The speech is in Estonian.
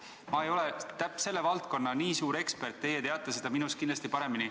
Ma ei ole selle valdkonna nii suur ekspert, teie teate seda minust kindlasti paremini.